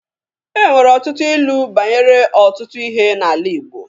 E nwere ọtụtụ ilu banyere ọtụtụ ihe n'ala Igbo.